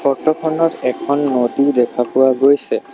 Photo খনত এখন নদী দেখা পোৱা গৈছে।